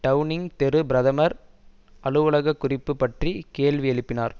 Downing தெரு பிரதமர் அலுவலக குறிப்பு பற்றி கேள்வி எழுப்பினார்